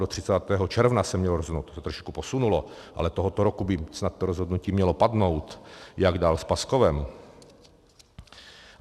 Do 30. června se mělo rozhodnout, to se trošku posunulo, ale tohoto roku by snad to rozhodnutí mělo padnout, jak dál s Paskovem.